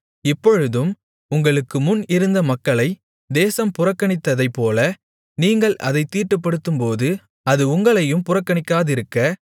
இப்பொழுதும் உங்களுக்கு முன் இருந்த மக்களை தேசம் புறக்கணித்ததைப்போல நீங்கள் அதைத் தீட்டுப்படுத்தும்போது அது உங்களையும் புறக்கணிக்காதிருக்க